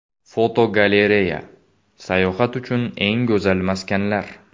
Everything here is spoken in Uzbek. Fotogalereya: Sayohat uchun eng go‘zal maskanlar.